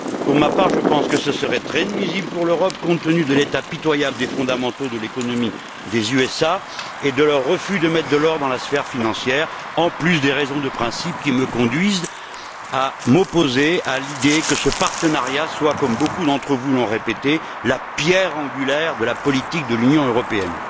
Pour ma part, je pense que cela serait très nuisible pour l'Europe, compte tenu de l'état pitoyable des fondamentaux de l'économie des USA et de leur refus de mettre de l'ordre dans la sphère financière, en plus des raisons de principe qui me conduisent à m'opposer à l'idée que ce partenariat soit, comme beaucoup d'entre vous l'ont répété, la pierre angulaire de la politique de l'Union européenne.